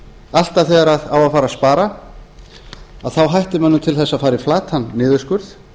alltaf þegar á að fara að spara þá hættir mönnum til þess að fara í flatan niðurskurð